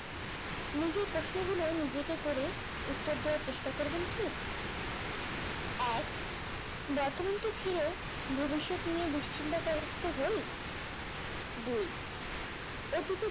নিজেই প্রশ্নগুলো নিজেকে করে উত্তর দেয়ার চেষ্টা করবেন কি এক বর্তমানকে ছেড়ে ভবিষ্যৎ নিয়ে দুশ্চিন্তাগ্রস্থ হই, দুই, অতীতে যা